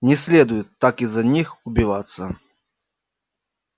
не следует так из-за них убиваться